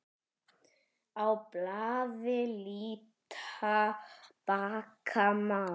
Á blaði líta bakka má.